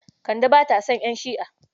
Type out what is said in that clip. Kande ba ta son ƴan Shi'a.